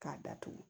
K'a datugu